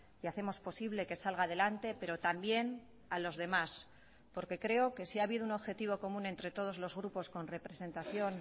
y hacemos posible que salga adelante pero también a los demás porque creo que si ha habido un objetivo común entre todos los grupos con representación